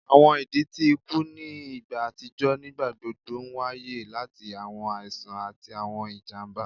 Awọn idi ti iku ni igba atijọ nigbagbogbo nwaye lati awọn aisan ati awọn ijamba